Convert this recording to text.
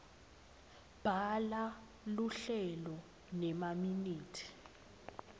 bhala luhlelo nemaminithi